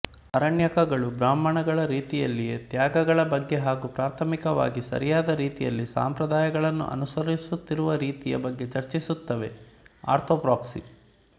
ಅರಣ್ಯಕಗಳು ಬ್ರಾಹ್ಮಣಗಳ ರೀತಿಯಲ್ಲಿಯೇ ತ್ಯಾಗಗಳ ಬಗ್ಗೆ ಹಾಗೂ ಪ್ರಾಥಮಿಕವಾಗಿ ಸರಿಯಾದ ರೀತಿಯಲ್ಲಿ ಸಂಪ್ರದಾಯಗಳನ್ನು ಅನುಸರಿಸುವ ರೀತಿಯ ಬಗ್ಗೆ ಚರ್ಚಿಸುತ್ತವೆ ಆರ್ತೊಪ್ರ್ಯಾಕ್ಸಿ